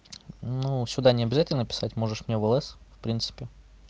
ну сюда не обязательно писать можешь мне в лс в принципе